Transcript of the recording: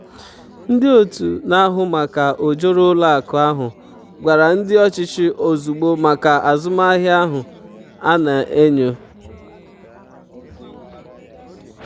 ndị otu na-ahụ maka ojoro ụlọ akụ ahụ gwara ndị ọchịchị ozugbo maka azụmahịa ahụ a na-enyo.